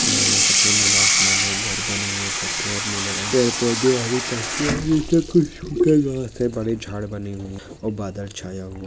माने सफ़ेद नीला आसमान है घर बनी हुई है कत्ते और नील रंग की पेड़ पौधे हरी और बडे झाड बनी हुई और बादल छाया हुआ--